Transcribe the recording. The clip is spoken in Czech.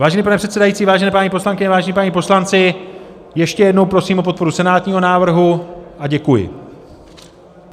Vážený pane předsedající, vážené paní poslankyně, vážení páni poslanci, ještě jednou prosím o podporu senátního návrhu a děkuji.